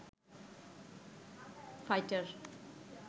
fighter